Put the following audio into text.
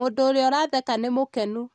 mũndũ ũrĩa ũratheka nĩ mũkenu